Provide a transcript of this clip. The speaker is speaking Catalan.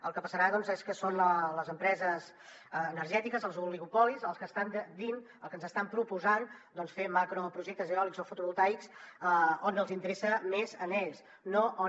el que passarà és que són les empreses energètiques els oligopolis els que ens estan dient els que ens estan proposant fer macroprojectes eòlics o fotovoltaics on els interessa més a ells no on